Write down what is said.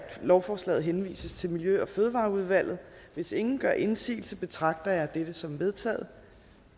lovforslaget henvises til miljø og fødevareudvalget hvis ingen gør indsigelse betragter jeg dette som vedtaget